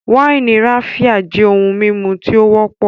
wáìnì Raphia jẹ ohun mímu tí ó wọ́pọ̀